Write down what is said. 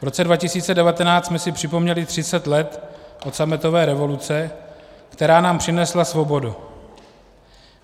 V roce 2019 jsme si připomněli 30 let od sametové revoluce, která nám přinesla svobodu.